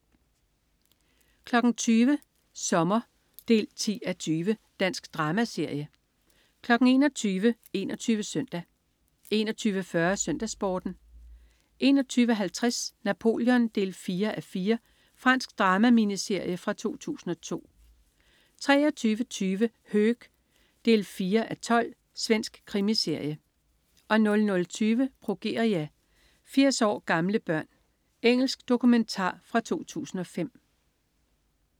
20.00 Sommer 10:20. Dansk dramaserie 21.00 21 Søndag 21.40 SøndagsSporten 21.50 Napoleon 4:4. Fransk drama-miniserie fra 2002 23.20 Höök 4:12. Svensk krimiserie 00.20 Progeria. 80 år gamle børn. Engelsk dokumentar fra 2005